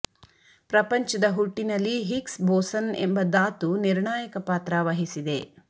ಪ್ರಪಂಚದ ಹುಟ್ಟಿನಲ್ಲಿ Higgs boson ಎಂಬ ದಾತು ನಿರ್ಣಾಂುುಕ ಪಾತ್ರ ವಹಿಸಿದೆ